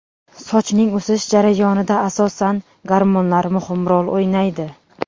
Sochning o‘sish jarayonida asosan gormonlar muhim rol o‘ynaydi.